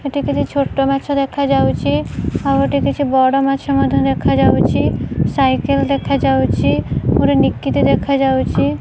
ହେଟି କିଛି ଛୋଟମାଛ ଦେଖାଯାଉଛି ଆଉ ହେଟି କିଛି ବଡମାଛ ମଧ୍ୟ ଦେଖାଯାଉଚି ସାଇକେଲ ଦେଖାଯାଉଚି ଗୋଟେ ନିକିତି ଦେଖାଯାଉଚି।